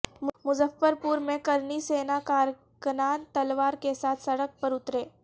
مظفر پور میں کرنی سینا کارکنان تلوار کے ساتھ سڑک پر اترے